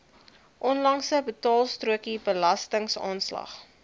onlangse betaalstrokie belastingaanslag